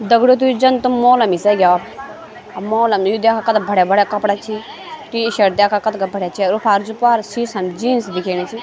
दगडियों तो यु जन तुम मोहना निसैला अर मोहल्ला नयीचु द्याखा कथा भड़िया भड़िया कपड़ा छि टी शर्ट दयाखा कथगा भड़िया छय अर वू अफार जू प्वार सीसा म जीन्स दिखेणी च।